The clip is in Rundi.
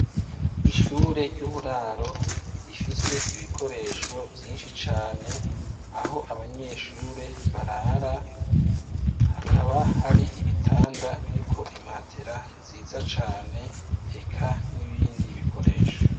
Ishure ry'uburaro, rifise ibikoresho vyinshi cane, aho abanyeshure barara hakaba hari ibitanda biriko imatera nziza cane, eka n'ibindi bikoresho.